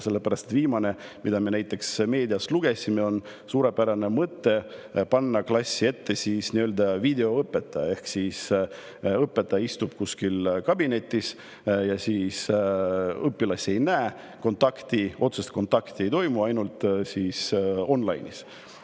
Viimane, mida me meediast lugesime, on suurepärane mõte panna klassi ette nii-öelda videoõpetaja ehk õpetaja, kes istub kuskil kabinetis ja õpilasi ei näe, otsest kontakti ei toimu, ainult online'is.